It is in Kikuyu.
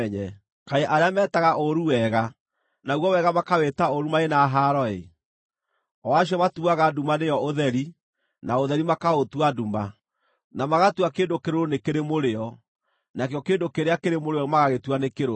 Kaĩ arĩa metaga ũũru wega, naguo wega makawĩta ũũru marĩ na haaro-ĩ! o acio matuaga nduma nĩyo ũtheri, na ũtheri makaũtua nduma, na magatua kĩndũ kĩrũrũ nĩ kĩrĩ mũrĩo, nakĩo kĩndũ kĩrĩa kĩrĩ mũrĩo magagĩtua nĩ kĩrũrũ.